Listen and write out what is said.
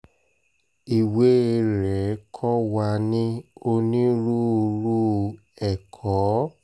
ìwé rẹ̀ kò wà ní onírúurú ẹ̀kọ́